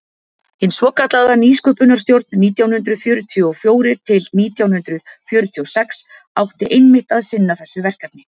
hin svokallaða nýsköpunarstjórn nítján hundrað fjörutíu og fjórir til nítján hundrað fjörutíu og sex átti einmitt að sinna þessu verkefni